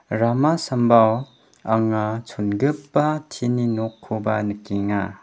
rama sambao anga chongipa tin-ni nokkoba nikenga.